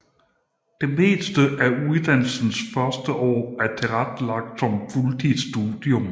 Det meste af uddannelsens første år er tilrettelagt som fuldtidsstudium